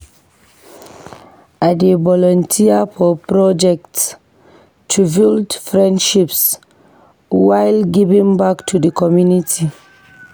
I dey volunteer for projects to build friendships while giving back to the community.